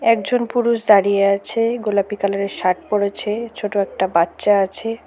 একজন পুরুষ দাঁড়িয়ে আছে গোলাপি কালারের শার্ট পরেছে ছোট একটা বাচ্চা আছে।